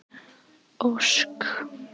Ósk